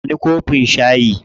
Ba ni kofin shayi.